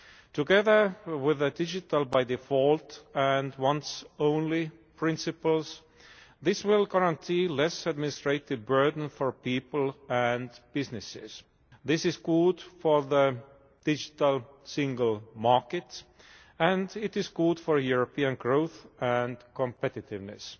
Together with the digital by default and once only' principles this will guarantee less administrative burden for people and businesses. This is good for the digital single market and it is good for European growth and competitiveness.